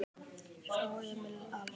Frá Emil Als